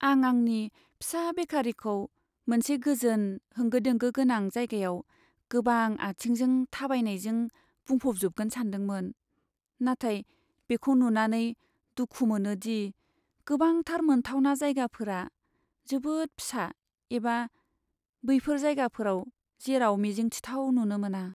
आं आंनि फिसा बेकारीखौ मोनसे गोजोन, होंगो दोंगो गोनां जायगायाव गोबां आथिंजों थाबायनायजों बुंफबजोबगोन सानदोंमोन, नाथाय बेखौ नुनानै दुखु मोनोदि गोबांथार मोनथावना जायगाफोरा जोबोद फिसा एबा बैफोर जायगाफोर जेराव मिजिंथिथाव नुनो मोना।